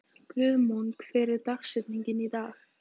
Guðmon, hver er dagsetningin í dag?